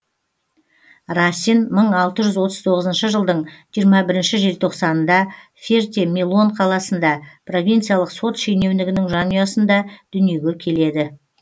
расин мың алты жүз отыз тоғызыншы жылдың жиырма бірінші желтоқсанында ферте милон қаласында провинциялық сот шенеунігінің жанұясында дүниеге келеді